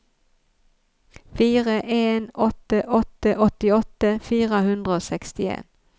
fire en åtte åtte åttiåtte fire hundre og sekstien